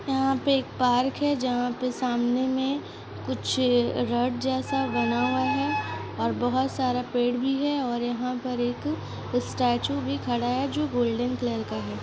यहां पे एक पार्क है जहां पे सामने में कुछ रड जैसा बना हुआ है और बहुत सारा पेड़ भी है और यहां पर एक स्टैचू भी खड़ा है जो गोल्डन कलर का है।